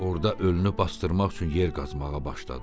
Orada ölünü basdırmaq üçün yer qazmağa başladı.